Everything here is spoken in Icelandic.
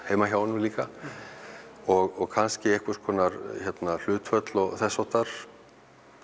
heima hjá honum líka og kannski einhvers konar hlutföll og þess háttar